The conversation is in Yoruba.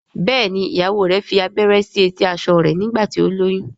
Béèni ìyàwó rẹ fí abẹrẹ sí eti aṣọ rẹ nígbà tí o lóyún.